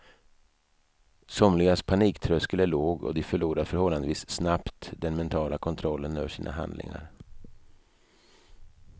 Somligas paniktröskel är låg och de förlorar förhållandevis snabbt den mentala kontrollen över sina handlingar.